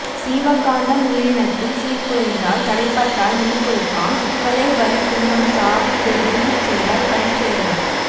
சீவகாந்தம் உயிரினத்தில் சீர்குலைந்த்தால் தடைப்பட்டால் மின்குறுக்காம் சிக்கலே வலி துன்பம் சாவு இவை விரும்பிச் செய்தால் பழிச்செயல் ஆம்